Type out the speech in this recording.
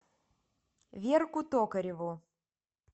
верку токареву